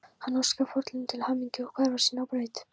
Hann óskar foreldrunum til hamingju og hverfur síðan á braut.